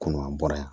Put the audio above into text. Kɔnɔ a bɔra yan